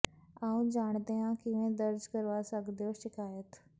ਆਓ ਜਾਣਦੇ ਹਾਂ ਕਿਵੇਂ ਦਰਜ ਕਰਵਾ ਸਕਦੇ ਹੋ ਸ਼ਿਕਾਇਤ